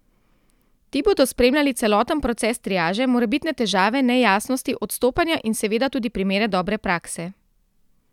Ti bodo spremljali celoten proces triaže, morebitne težave, nejasnosti, odstopanja in seveda tudi primere dobre prakse.